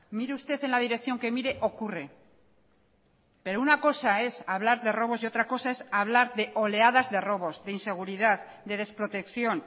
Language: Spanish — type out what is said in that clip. mire usted en la dirección que mire ocurre pero una cosa es hablar de robos y otra cosa es hablar de oleadas de robos de inseguridad de desprotección